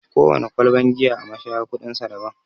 Kowana kwalban giya a mashaya kuɗin sa daban.